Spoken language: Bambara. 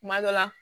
Kuma dɔ la